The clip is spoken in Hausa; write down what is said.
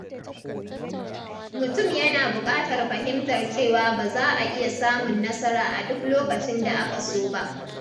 Mutum yana bukatar fahimtar cewa ba za a iya samun nasara a duk lokacin da aka so ba.